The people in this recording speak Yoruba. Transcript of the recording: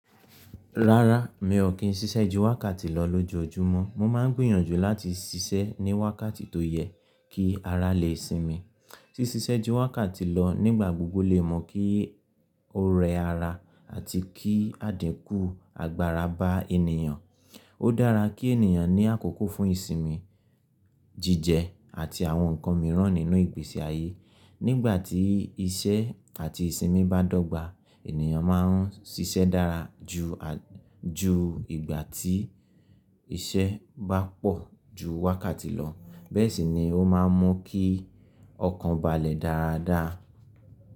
Rárá, mi ò kí n ṣíṣẹ́ ju wákàtí lọ lójoojúmọ́. Mo máa ń gbìyànjú láti ṣiṣẹ́ ní wákàtí tó yẹ kí ara lè sinmi. Ṣíṣẹ́ ju wákàtí lọ nígbà gbogbo lè mú kí ó rẹ ara àti kí àdínkù agbára bá ènìyàn. Ó dára kí ènìyàn ní àkókò fún ìsinmi, jíjẹ àti àwọn nǹkan mìíràn nínú ìgbésí ayé. Nígbà tí iṣẹ́ àti ìsinmi bá dọ́gba, ènìyàn máa ń ṣiṣẹ́ dára ju à, ju ìgbà tí iṣẹ́ bá pọ̀ ju wákàtí lọ. Bẹ́ẹ̀ sì ni ó máa ń mú kí ọkàn balẹ̀ dáradára.